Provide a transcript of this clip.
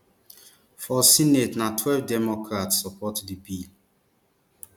for senate na twelve democrats support di bill